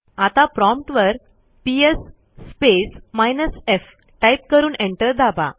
आता प्रॉम्प्ट वर PS space minus f type करून एंटर दाबा